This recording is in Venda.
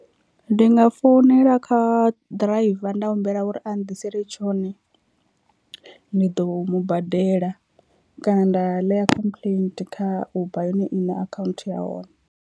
Ndi nga founela kha ḓiraiva nda humbela uri a nnḓisele tshone ni ḓo mu badela kana nda ḽea complaint kha uber yone iṋe account ya hone.